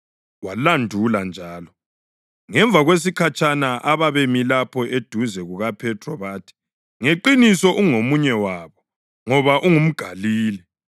Walandula njalo. Ngemva kwesikhatshana ababemi lapho eduze kukaPhethro bathi, “Ngeqiniso ungomunye wabo, ngoba ungumGalile.”